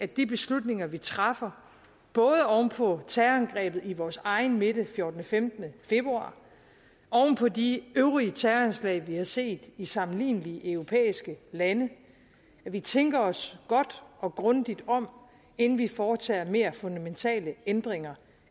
de beslutninger vi træffer både oven på terrorangrebet i vores egen midte fjortende femten februar og oven på de øvrige terrorangreb vi har set i sammenlignelige europæiske lande at vi tænker os godt og grundigt om inden vi foretager mere fundamentale ændringer